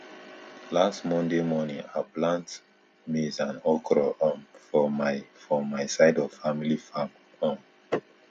last monday morning i plant maize and okro um for my for my side of family farm um